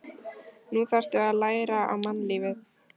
Nú þarftu að læra á mannlífið.